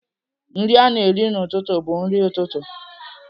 Nri a na-eri n'ụtụtụ bụ nri ụtụtụ.